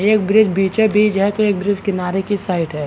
एक ब्रिज बीचे बीच है तो एक ब्रिज किनारे की साइड है।